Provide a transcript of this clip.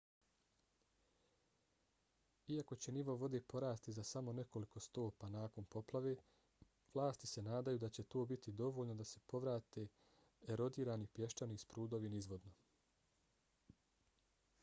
iako će nivo vode porasti za samo nekoliko stopa nakon poplave vlasti se nadaju da će to biti dovoljno da se povrate erodirani pješčani sprudovi nizvodno